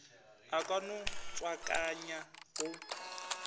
a ka no tswakanya go